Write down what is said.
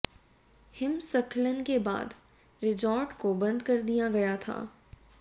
हिमस्खलन के बाद रिजॉर्ट को बंद कर दिया गया था